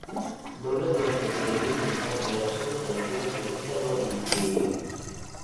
Dawladdu waxay dhiirigelinaysaa beerashada dalagyada dibadda loo iibgeeyo.